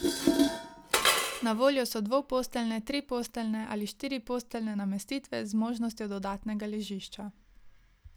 Na voljo so dvoposteljne, triposteljne ali štiriposteljne namestitve z možnostjo dodatnega ležišča.